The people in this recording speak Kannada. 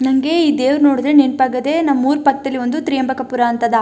ನಂಗೆ ಈ ದೇವರು ನೋಡಿದ್ರೆ ನೆನಪಾಗದೇ ನಮ್ ಊರ್ ಪಕ್ಕದಲಿ ಒಂದು ತ್ರಿಯಂಗಕಾಪುರ ಅಂತ ಅದ --